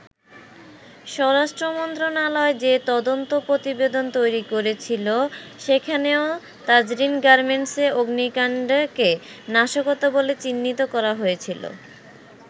স্বরাষ্ট্র মন্ত্রণালয় যে তদন্ত প্রতিবেদন তৈরি করেছিল সেখানেও তাজরীন গার্মেন্টসে অগ্নিকাণ্ডকে নাশকতা বলে চিহ্নিত করা হয়েছিল।